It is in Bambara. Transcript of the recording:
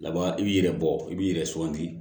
Laban i b'i yɛrɛ bɔ i b'i yɛrɛ suganti